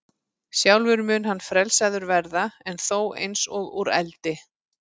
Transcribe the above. Sjálfur mun hann frelsaður verða, en þó eins og úr eldi.